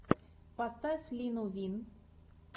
поставь лину вин